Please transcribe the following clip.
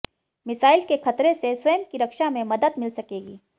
missile के खतरे से स्वयं की रक्षा में मदद मिल सकेगी